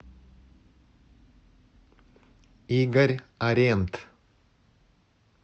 игорь арент